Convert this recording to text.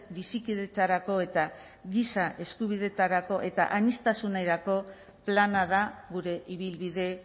bizikidetzarako eta giza eskubideetarako eta aniztasunerako plana da gure ibilbide